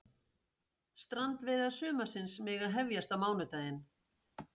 Strandveiðar sumarsins mega hefjast á mánudaginn